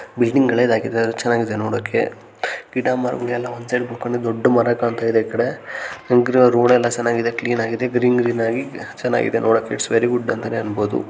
Building ಹಳೇದಾಗಿದೆ ಆದರೂ ಚೆನ್ನಾಗಿದೆ ನೋಡೋಕೆ ಗಿಡ ಮರಗಳೆಲ್ಲ ಒಂದ್ ಸೈಡ್ ಕೂಡಿದೊಂದು ದೊಡ್ಡ ಮರ ಕಾಣ್ತಿದೆ ಈಕಡೆ ಹಾಗೆ ರೋಡ್ ಎಲ್ಲ ಚೆನ್ನಾಗಿದೆ ಕ್ವೀನಾ ಗಿದೇ ಗ್ರೀನ್ ಗ್ರೀನ್ ಆಗಿ ಚೆನ್ನಾಗಿದೆ ನೋಡೋಕೆ ಇಟ್ಸ್ ವೆರಿ ಗುಡ್ ಅಂತಾನೆ ಹೇಳ್ಬಹುದು .